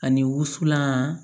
Ani wusulan